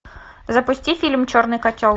запусти фильм черный котел